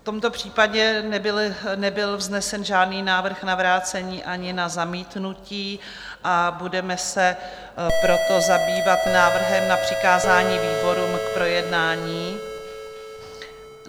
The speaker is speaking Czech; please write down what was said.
V tomto případě nebyl vznesen žádný návrh na vrácení ani na zamítnutí, a budeme se proto zabývat návrhem na přikázání výborům k projednání.